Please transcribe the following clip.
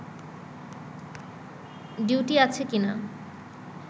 duty আছে কিনা